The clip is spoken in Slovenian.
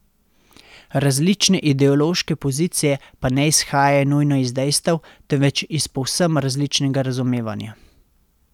Različne ideološke pozicije pa ne izhajajo nujno iz dejstev, temveč iz povsem različnega razumevanja.